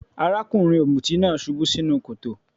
Arákùnrin ọ̀mùtí náà subú sínú kòtò.